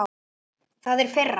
Það er firra.